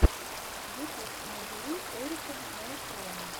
ютуб набери эрика нейтрона